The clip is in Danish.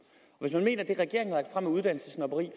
år er uddannelsessnobberi